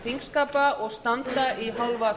þingskapa og standa í hálfa